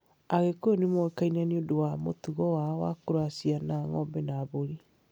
Agĩkuyu nĩ moĩkaine nĩ ũndũ wa mũtugo wao wa kũracia na ng'ombe na mbũri.